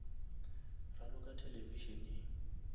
raloka televišeneng